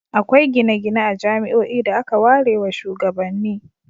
Akwai gine-gine a jami'oi da aka warewa shugabanni.